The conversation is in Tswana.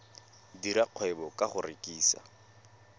dira kgwebo ka go rekisa